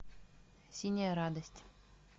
синяя радость